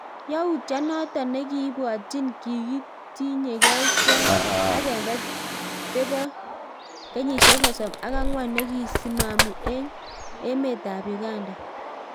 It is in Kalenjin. Yautyo notok nekibwatyin kikitinygei kwony agenge tepo kenyisiek sosom ak angwan nekisimani eng emeet ap Uganda